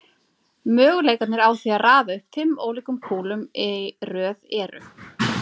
Möguleikarnir á því að raða upp fimm ólíkum kúlum í röð eru